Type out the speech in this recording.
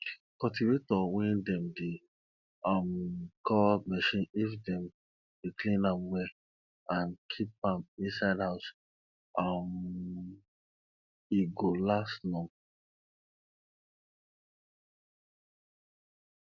cultivator wey dem dey um call machine if dem dey clean am well and keep am inside house um e go last long